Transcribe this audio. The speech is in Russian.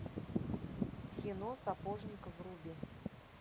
кино сапожник вруби